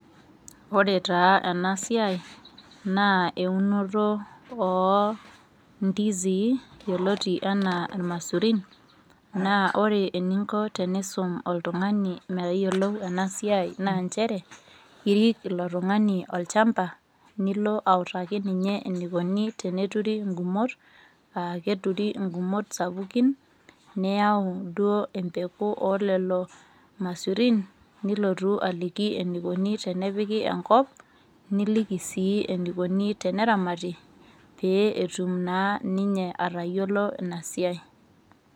Ore taa ena siai naa eunoto oo ndizi yioloti enaa irmaisurin naa ore eninko pee iisum oltung'ani metayiolo ena siai naa nchere irik ilo tung'ani olchamba nilo autaki ninye enikoni teneturi ngumot aa keturi ngumot sapukin niyau duo empeku oolelo maisurin nilotu aliki enikoni tenepiki enkop nilii sii enikoni teneramati pee etum naa ninye atayiolo ina siai.